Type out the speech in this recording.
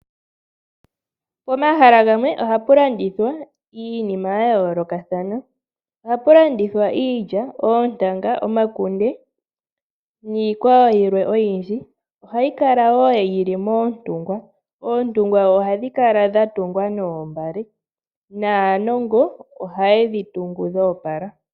Pomahala gamwe ohapu landithwa iinima ya yoolokathana. Ohapu landithwa iilya, oontanga, omakunde niikwawo yilwe oyindji. Ohayi kala wo yi li moontungwa. Oontungwa ihadhi kala dha tungwa noombale naanongo ohaye dhi tungu dho opala.